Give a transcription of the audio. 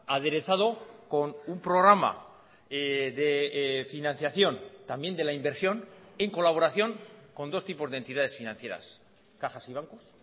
aderezado con un programa de financiación también de la inversión en colaboración con dos tipos de entidades financieras cajas y bancos